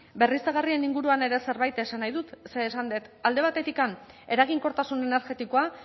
berriztagarrien inguruan ere zerbait esan nahi dut ze esan dut alde batetik eraginkortasun energetikoa